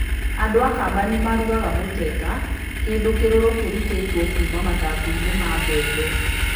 Andũ a Kamba nĩ marugaga muteta, kĩndũ kĩrũrũ kĩrutĩtwo kuuma mathangũ-inĩ ma mbembe.